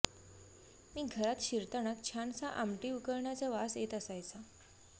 मी घरात शिरतानाच छानसा आमटी उकळण्याचा वास येत असायचा